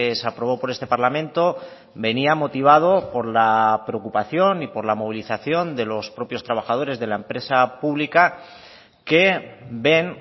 se aprobó por este parlamento venía motivado por la preocupación y por la movilización de los propios trabajadores de la empresa pública que ven